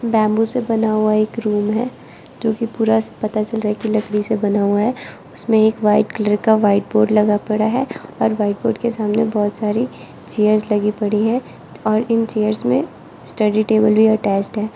Bamboo से बना हुआ एक रूम है जो कि पूरा पता चल रहा है कि लकड़ी से बना हुआ है उसमें एक वाइट कलर का व्हाइट बोर्ड लगा पड़ा है और व्हाइट बोर्ड के सामने बहुत सारे चेयर्स लगी पड़ी हैं और इन चेयर्स में स्टडी टेबल भी अटैचड है।